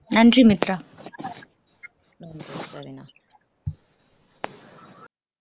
நன்றி மித்ரா